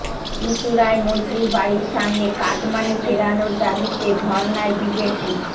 চুঁচুড়ায় মন্ত্রীর বাড়ির সামনে কাটমানি ফেরানোর দাবিতে ধর্নায় বিজেপি